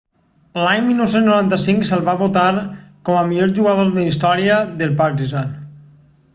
l'any 1995 se'l va votar com a millor jugador de la història del partizan